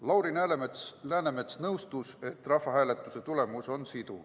Lauri Läänemets nõustus, et rahvahääletuse tulemus on siduv.